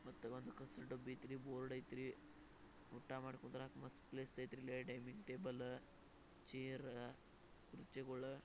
ಮತ್ತೆ ಒಂದ್ ಹಸ್ರ್ ಡಬ್ಬಿ ಐತ್ರಿ ಬೋರ್ಡ್ ಐತ್ರಿ ಊಟ ಮಾಡ್ ಕುಂದ್ರಾಕ ಮಸ್ತ್ ಪ್ಲೇಸ್ ಐತ್ರಿ ಡೈನಿಂಗ್ ಟೇಬಲ ಚೇರ್ ಕುರ್ಚಿಗುಳಾ--